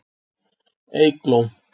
Eygló